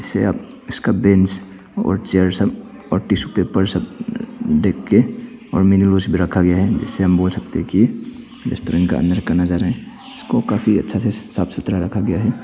इस अब इसका बेंच और चेयर सब और टिशू पेपर सब देखके और मिनी रोज भी रखा गया है इससे हम बोल सकते हैं कि अंदर का नजारा है इसको काफी अच्छे से साफ सुथरा रखा गया है।